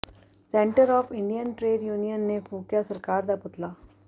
centre of Indian trade union ਨੇ ਫੂਕਿਆ ਸਰਕਾਰ ਦਾ ਪੁਤਲਾ